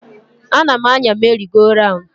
Anam-anya meri go raun.